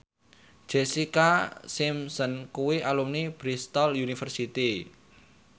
Jessica Simpson kuwi alumni Bristol university